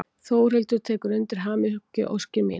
Þórhildur tekur undir hamingjuóskir mínar.